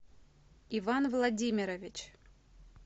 иван владимирович